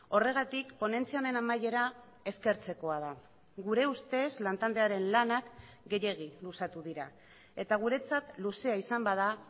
horregatik ponentzia honen amaiera eskertzekoa da gure ustez lantaldearen lanak gehiegi luzatu dira eta guretzat luzea izan bada